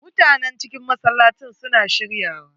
Mutanen cikin masallacin su na shirya wa.